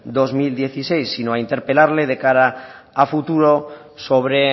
dos mil dieciséis sino a interpelarle de cara a futuro sobre